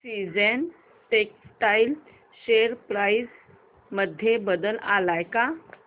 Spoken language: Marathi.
सीजन्स टेक्स्टटाइल शेअर प्राइस मध्ये बदल आलाय का